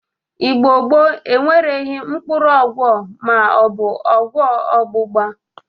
Igbo gboo enweghi mkpụrụ ọgwọ ma ọ bụ ọgwọ ọgbụgba.